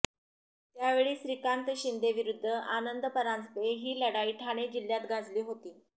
त्यावेळी श्रीकांत शिंदे विरूध्द आनंद परांजपे ही लढाई ठाणे जिल्ह्यात गाजली होती